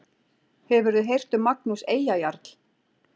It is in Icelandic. Hefurðu heyrt um Magnús Eyjajarl?